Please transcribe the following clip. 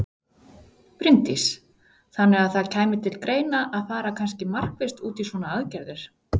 Bryndís: Þannig að það kæmi til greina að fara kannski markvisst út í svona aðgerðir?